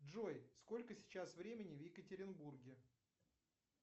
джой сколько сейчас времени в екатеринбурге